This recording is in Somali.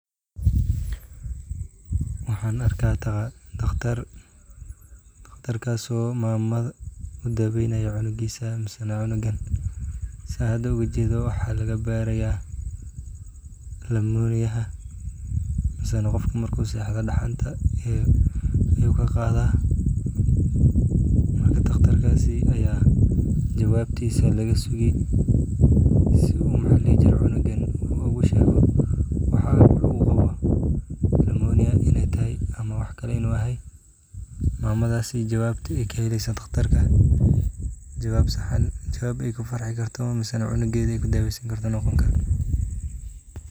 Wxan ujeda daqtar oo mamada udaweynayo cunug ama sida hda ujedo waxa lagabaraya lamoniya mise qof marku sexdo qawowga ayu kaqada marka daqtarkasi aya jawabtisa lagasugi sii uu ugushego cunugan waxa uu qawo nimoniya in ey tahay ama wax kale inu yahay mamada jawab sax kaheli oo jawab ey kudaweysani karto.